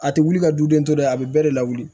A tɛ wuli ka du den tɔ ye a bɛ bɛɛ de lawuli